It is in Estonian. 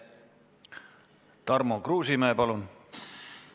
Tarmo Kruusimäe, palun!